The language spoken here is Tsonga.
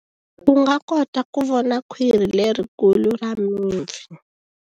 U nga kota ku vona khwiri lerikulu ra mipfi.